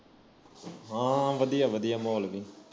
ਹਾ ਵਧੀਆ ਵਧੀਆ ਮਾਹੌਲ ਵੀ